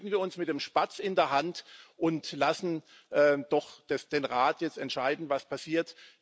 Begnügen wir uns mit dem Spatz in der Hand und lassen wir doch den Rat jetzt entscheiden, was passiert.